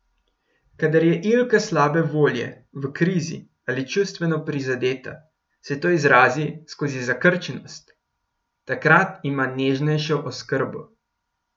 Kadar je Ilka slabe volje, v krizi ali čustveno prizadeta, se to izrazi skozi zakrčenost, takrat ima nežnejšo oskrbo.